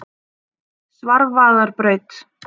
Svarfaðarbraut